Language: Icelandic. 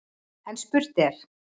En spurt er: